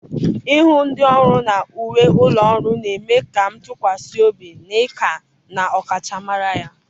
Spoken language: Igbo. ịhụ ndị ọrụ na uwe ụlọ ọrụ na-eme ka m tụkwasị obi na ika na ọkachamara ya.